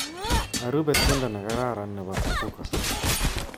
Arube tiendo nekararan nebo Kapuka